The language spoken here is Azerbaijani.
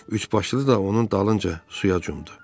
Üçbaşlı da onun dalınca suya cumdu.